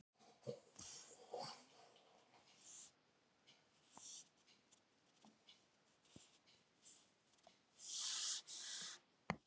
Hann heitir Hannes.